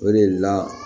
O de la